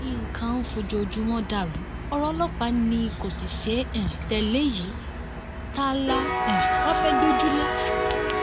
nǹkan ń fojoojúmọ dàrú ọrọ ọlọpàá ni kò sì ṣeé um tẹlé yìí ta la um wáá fẹẹ gbójúlé